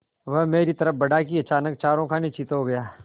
वह मेरी तरफ़ बढ़ा कि अचानक चारों खाने चित्त हो गया